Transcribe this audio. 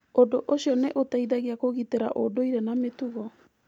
Ũndũ ũcio nĩ ũteithagia kũgitĩra ũndũire na mĩtugo.